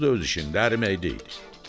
Buz da öz işində əriməkdi.